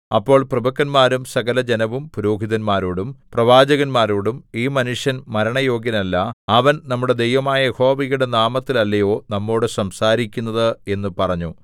അപ്പോൾ പ്രഭുക്കന്മാരും സകലജനവും പുരോഹിതന്മാരോടും പ്രവാചകന്മാരോടും ഈ മനുഷ്യൻ മരണയോഗ്യനല്ല അവൻ നമ്മുടെ ദൈവമായ യഹോവയുടെ നാമത്തിൽ അല്ലയോ നമ്മോട് സംസാരിക്കുന്നത് എന്നു പറഞ്ഞു